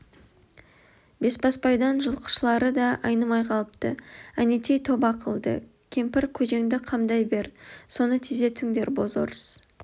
бесбасбайдан жылқышылары да айнымай қалыпты әнетей тоба қылды кемпір көжеңді қамдай бер соны тездетіңдер бозорыс